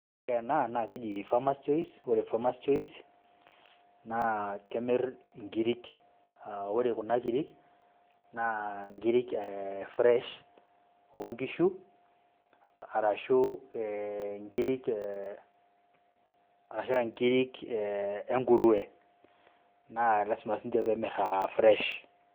Ore ena naa keji farmers choice, naa kemir inkirik, aa ore Kuna kirik naa nkirik ee fresh oo nkishu, arashu nkirik e nkurue, naa lasima sii ninche peemir aa fresh